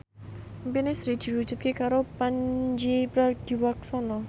impine Sri diwujudke karo Pandji Pragiwaksono